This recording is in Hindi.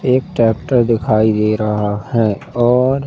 एक ट्रैक्टर दिखाई दे रहा है और--